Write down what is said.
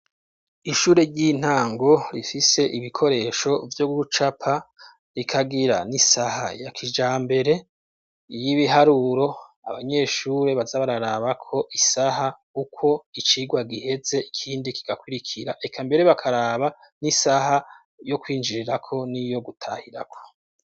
ishure ry'intango rifise ibikoresho vyo gucapa rikagira n'isaha ya kijambere y'ibiharuro abanyeshuri baza bararaba ko isaha uko icigwa giheze ikindi kigakurikira reka mbere bakaraba n'isaha yo kwinjirirako niyo gutahirako.